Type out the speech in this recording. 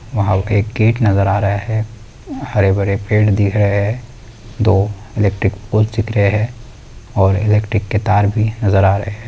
वहाँ पे एक गेट नज़र आ रहा है। हरे भरे पेड़ दिख रहे है। दो इलैक्ट्रिक पोल दिख रहे है। और इलैक्ट्रिक के तार भी नज़र आ रहे है।